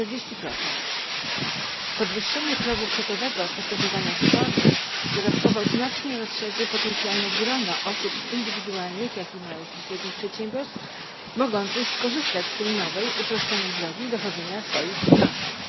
40. Podwyższenie progu kwotowego w postępowaniach spornych dodatkowo znacznie rozszerzy potencjalne grono osób indywidualnych, jak i małych i średnich przedsiębiorstw mogących skorzystać z tej nowej uproszczonej drogi dochodzenia swoich roszczeń.